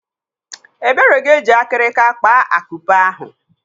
Ebere ga-eji akirika kpaa akupe ahụ.